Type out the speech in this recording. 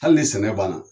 Hali ni sɛnɛ banna